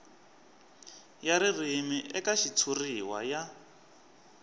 ya ririmi eka xitshuriwa ya